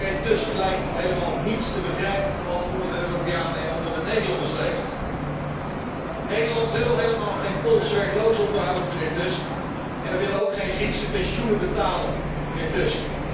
Die mijnheer Tusk lijkt helemaal niets te begrijpen van wat er onder de Europeanen en onder de Nederlanders leeft. Nederland wil helemaal geen Poolse werklozen onderhouden, mijnheer Tusk, en wij willen ook geen Griekse pensioenen betalen, mijnheer Tusk.